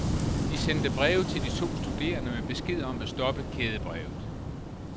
De sendte breve til de to studerende med besked om at stoppe kædebrevet.